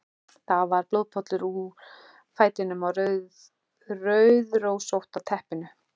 Það var blóðpollur úr fætinum á rauðrósótta teppinu.